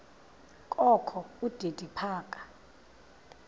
kokho udidi phaka